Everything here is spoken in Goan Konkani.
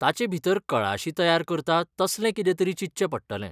ताचेभितर कळाशी तयार करता तसलें कितेंतरी चिंतचें पडटलें.